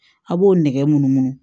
A' b'o nɛgɛ mun